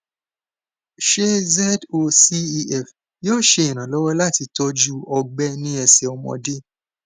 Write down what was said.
ṣé zocef yóò ṣe ìrànlọwọ láti tọjú ọgbẹ ní ẹsẹ ọmọdé